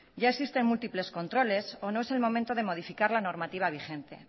ya existen múltiples controles o no es el momento de modificar la normativa vigente